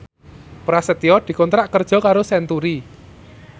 Prasetyo dikontrak kerja karo Century